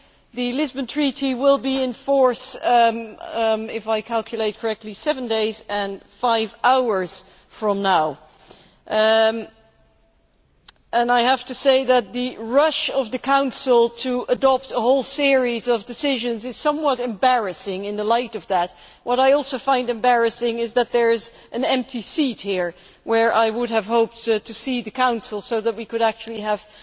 The Lisbon Treaty will be in force if I calculate correctly seven days and five hours from now. I must say that the rush by the Council to adopt a whole series of decisions is somewhat embarrassing in the light of this. What I also find embarrassing is that there is an empty seat here, where I would have hoped to see the Council so that we could actually have